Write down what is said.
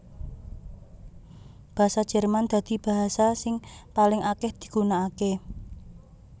Basa Jerman dadi basa sing paling akèh digunakaké